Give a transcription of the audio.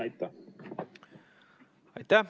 Aitäh!